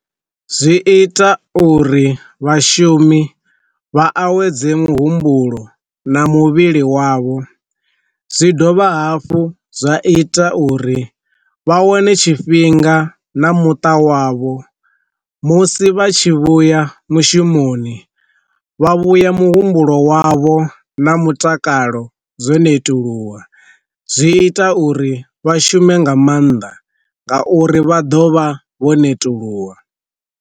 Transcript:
Zwi ita uri vhashumi vha awedze muhumbulo na muvhili wavho, zwi dovha hafhu zwa ita uri vha wane tshifhinga na muṱa wavho musi vha tshi vhuya mushumoni, vha vhuya muhumbulo wavho na mutakalo zwo netuluwa zwi ita uri vha shume nga maanḓa nga uri vha ḓovha vho netuluwa.